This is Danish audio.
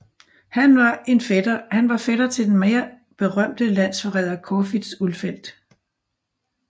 Han var fætter til den mere berømte landsforræder Corfitz Ulfeldt